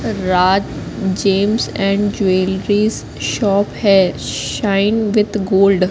Raj gems and jewelleries shop है shine with gold --